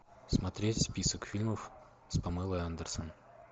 смотреть список фильмов с памелой андерсон